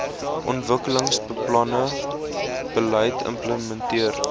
ontwikkelingsbeplanning beleid implementeer